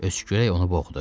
Öskürək onu boğdu.